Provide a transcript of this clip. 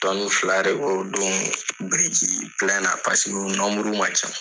Tɔni fila de bɔ o don biriki na paseke u man ca.